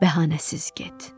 Bəhanəsiz get.